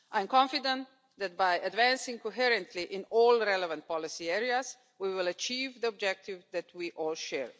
I am confident that by advancing coherently in all relevant policy areas, we will achieve the objective that we all share.